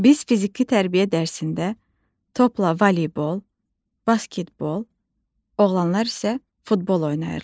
Biz fiziki tərbiyə dərsində topla voleybol, basketbol, oğlanlar isə futbol oynayırlar.